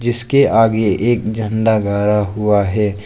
इसके आगे एक झंडा गाड़ा हुआ है।